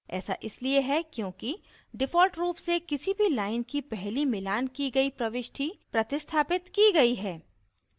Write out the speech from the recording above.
ऐसा इसलिए है क्योंकि default रूप से किसी भी line की पहली मिलान की गयी प्रविष्टि प्रतिस्थापित की गयी है